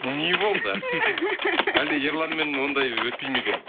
не болды әлде ерланмен ондай өтпейді ме екен